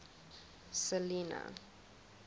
selinah